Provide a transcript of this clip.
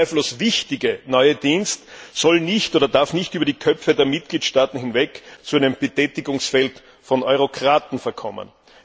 Dieser zweifellos wichtige neue Dienst soll nicht oder darf nicht über die Köpfe der Mitgliedstaaten hinweg zu einem Betätigungsfeld von Eurokraten verkommen.